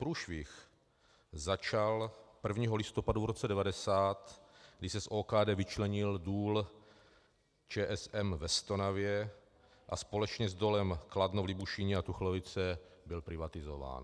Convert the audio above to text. Průšvih začal 1. listopadu v roce 1990, kdy se z OKD vyčlenil Důl ČSM ve Stonavě a společně s Dolem Kladno v Libušíně a Tuchlovice byl privatizován.